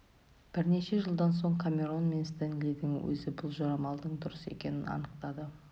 бірнеше жылдан соң камерон мен стенлидің өзі бұл жорамалдың дұрыс екенін анықтады